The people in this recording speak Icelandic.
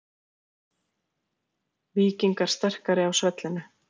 Víkingar sterkari á svellinu